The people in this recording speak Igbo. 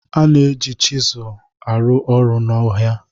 A na-eji chiselu sel arụ ọrụ n'ọhịa